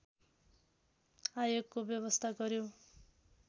आयोगको व्यवस्था गर्‍यो